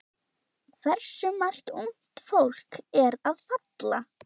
Hversu margt ungt fólk að falla?